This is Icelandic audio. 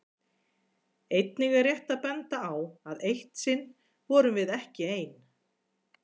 Einnig er rétt að benda á að eitt sinn vorum við ekki ein.